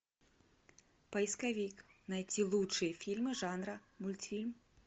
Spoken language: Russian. поисковик найти лучшие фильмы жанра мультфильм